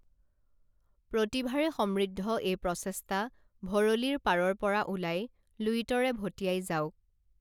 প্ৰতিভাৰে সমৃদ্ধ এই প্ৰচেষ্টা ভৰলীৰ পাৰৰ পৰা ওলাই লুইতৰে ভটিয়াই যাওঁক